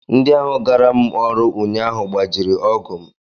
Ndị ahụ gaara m ọrụ ụnyaahụ gbajiri ọgụ m